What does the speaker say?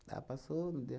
Ela passou, não deu.